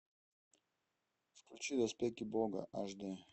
включи доспехи бога аш дэ